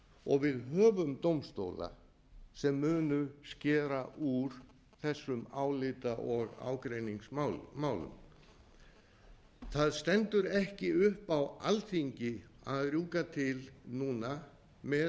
og við höfum dómstóla sem munu skera úr þessum álita og ágreiningsmálum það stendur ekki upp á alþingi að rjúka til núna með